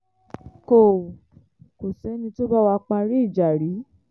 kò kò sẹ́ni tó bá wá parí ìjà rí